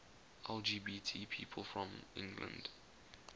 lgbt people from england